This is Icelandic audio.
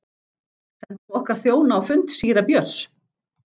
Sendum okkar þjóna á fund síra Björns.